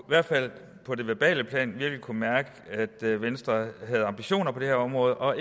hvert fald på det verbale plan virkelig kunne mærke at venstre havde ambitioner på det her område og